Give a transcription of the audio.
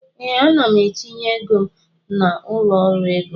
Ee, ana m etinye ego m na ụlọ ọrụ ego